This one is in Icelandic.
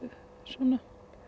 svona